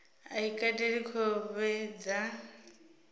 a i kateli khovhe dza